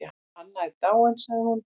Anna er dáin sagði hún.